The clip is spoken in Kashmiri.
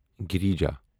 گریٖجا